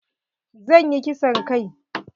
Zan yi kisan kai.